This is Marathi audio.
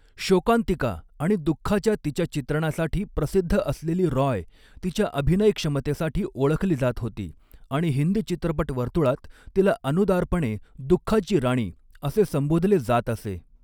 शोकांतिका आणि दुख्खाच्या तिच्या चित्रणासाठी प्रसिद्ध असलेली रॉय तिच्या अभिनय क्षमतेसाठी ओळखली जात होती, आणि हिंदी चित्रपट वर्तुळात तिला अनुदारपणे 'दुख्खाची राणी' असे संबोधले जात असे.